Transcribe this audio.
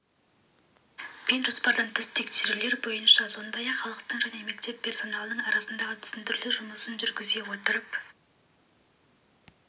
пен жоспардан тыс тексерулер бойынша сондай-ақ халықтың және мектеп персоналының арасында түсіндіру жұмысын жүргізе отырып